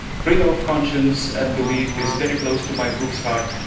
Freedom of conscience and belief is very close to my group's heart.